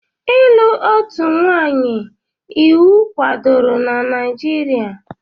Ịlụ otu nwanyị iwu kwadoro na Naijiria?